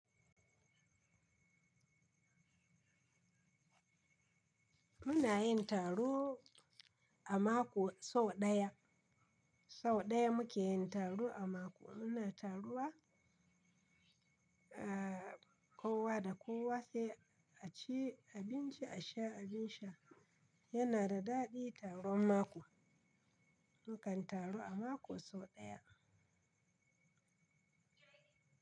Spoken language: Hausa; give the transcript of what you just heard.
Muna yin taro a mako sau ɗaya, sau ɗaya muke yin taro a mako. Muna taruwa a kowa da kowa sai a ci abinci, a sha abin sha. Yana da daɗi taron mako. Mukan taru a mako sau ɗaya.